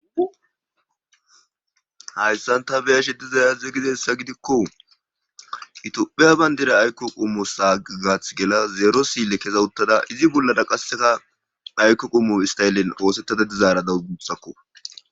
hayssan ta beyashi dizay aze gidessa gidikko itopheya bayndira ayko qummo sagaath gela zeero sille keza uttada izi bollara qasseka aykko qummu istayellen oosettada dizaara dawus gusakko